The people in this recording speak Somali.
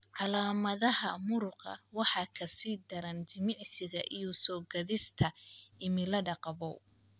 Calaamadaha muruqa waxay ka sii daraan jimicsiga iyo soo-gaadhista cimilada qabow.